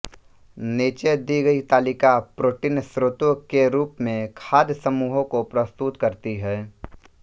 नीचे दी गई तालिका प्रोटीन स्रोतों के रूप में खाद्य समूहों को प्रस्तुत करती है